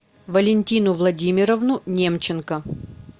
валентину владимировну немченко